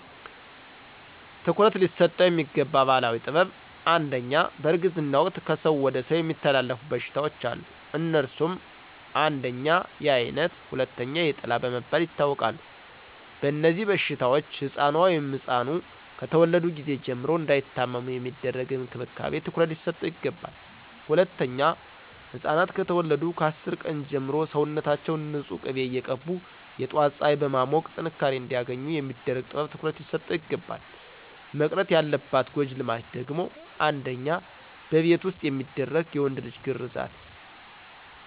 ትኩረት ሊሰጠው የሚገባ ባህላዊ ጥበብ #1, በእርግዝና ወቅት ከሰው ወደ ሰው የሚተላለፉ በሽታዎች አሉ. አነሱም: 1, የአይነት 2, የጥላ በመባል ይታወቃሉ. በእነዚህበሽታዎች ሕፃኑ(ኗ)ከተወለዱ ጊዜ ጀምሮ እንዳይታመሙ የሚደረግ እንክብካቤ ትኩረት ሊሰጠው ይገባል. #2, ሕፃናት ከተወለዱ ከ10 ቀን ጀምሮ ሰውነታችውን ንፁህ ቂቤ እየቀቡ የጧት ፀሐይ በማሞቅ ጥንካሬ አንዲያገኙ የሚደረግ ጥበብ ትኩረት ሊሰጠው ይግባላል. መቅረት ያለባት ጎጂ ልማድ ደግሞ: 1, በቤት ዉስጥ የሚደረግ የወንድ ልጅ ግርዛት